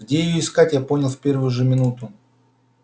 где её искать я понял в первую же минуту